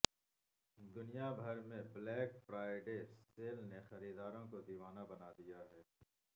دنیا بھر میں بلیک فرائیڈے سیل نے خریداروں کو دیوانہ بنا دیا